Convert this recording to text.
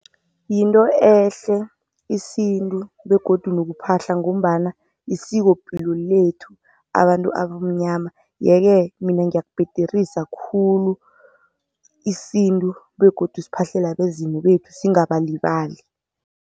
Yinto ehle isintu begodu nokuphahla ngombana yisikopilo lethu abantu abamnyama. Yeke-ke mina ngiyakubhederisa khulu, isintu begodu siphahlele abezimu bethu singabalibali.